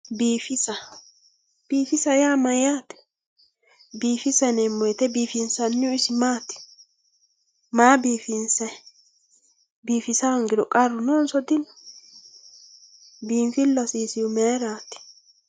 biifisa yaa mayyaate biifisa yinanni woyiite maa biifinsanni biifisa hoongiro qarru noonso dino biinfillu hasiisihu mayeraati?